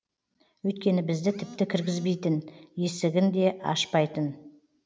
өйткені бізді тіпті кіргізбейтін есігін де ашпайтын